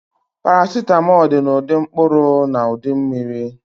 Paracetamol dị na ụdị mkpụrụ na ụdị mmiri